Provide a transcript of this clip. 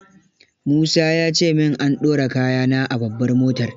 Musa ya ce min an dora kaya na a babbar motar.